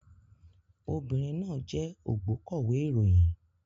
Obìnrin náà jẹ́ ògbókọ̀wé ìròyìn